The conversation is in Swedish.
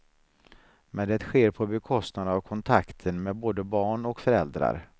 Men det sker på bekostnad av kontakten med både barn och föräldrar.